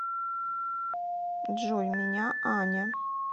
джой меня аня